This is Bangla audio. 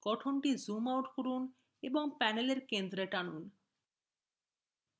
গঠনটি zoom out করুন এবং panel এর center টানুন